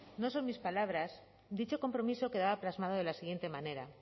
no son mis palabras dicho compromiso quedaba plasmado de la siguiente manera